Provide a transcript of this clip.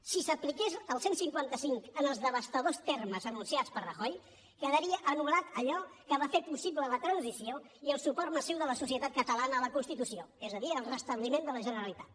si s’apliqués el cent i cinquanta cinc en els devastadors termes anunciats per rajoy quedaria anul·lat allò que va fer possible la transició i el suport massiu de la societat catalana a la constitució és a dir el restabliment de la generalitat